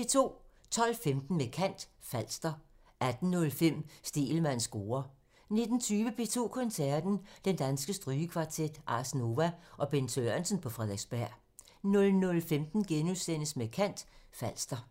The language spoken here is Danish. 12:15: Med kant – Falster 18:05: Stegelmanns score (tir) 19:20: P2 Koncerten – Den Danske Strygekvartet, Ars Nova og Bent Sørensen på Frederiksberg 00:15: Med kant – Falster *